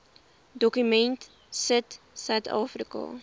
dokument sit suidafrika